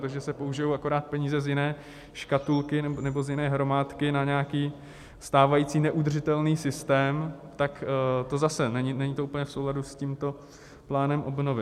Takže se použijí akorát peníze z jiné škatulky nebo z jiné hromádky na nějaký stávající neudržitelný systém, tak to zase, není to úplně v souladu s tímto plánem obnovy.